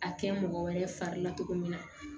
A kɛ mɔgɔ wɛrɛ fari la cogo min na